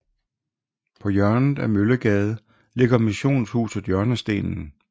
På hjørnet af Møllegade ligger missionshuset Hjørnestenen